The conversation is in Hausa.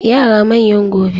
Yara manyan gobe.